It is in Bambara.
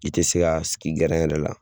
I tɛ se ka sigi yɛrɛ la